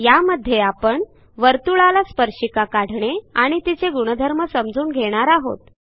यामध्ये आपण वर्तुळाला स्पर्शिका काढणे आणि तिचे गुणधर्म समजून घेणार आहोत